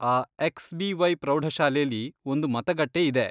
ಆ ಎಕ್ಸ್.ಬಿ.ವೈ. ಪ್ರೌಢಶಾಲೆಲಿ ಒಂದು ಮತಗಟ್ಟೆ ಇದೆ.